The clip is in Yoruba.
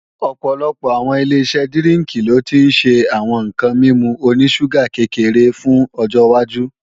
Ọ̀pọ̀lọpọ̀ àwọn Ileṣẹ́ dírínkì lo ti ń ṣe àwọn ǹkan mímu oní ṣúgà kékeré fún ọjọwájú